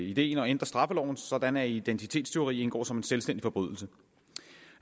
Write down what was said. ideen at ændre straffeloven sådan at identitetstyveri indgår som en selvstændig forbrydelse